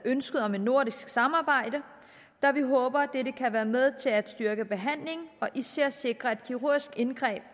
ønsket om et nordisk samarbejde da vi håber at dette kan være med til at styrke behandlingen og især sikre at kirurgiske indgreb